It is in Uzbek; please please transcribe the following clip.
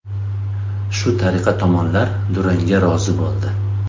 Shu tariqa tomonlar durangga rozi bo‘ldi.